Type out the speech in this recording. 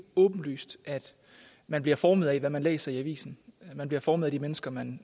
åbenlyst at man bliver formet af hvad man læser i avisen og at man bliver formet af de mennesker man